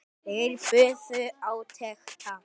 Þeir biðu átekta.